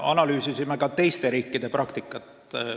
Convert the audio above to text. Analüüsisime ka teiste riikide praktikat.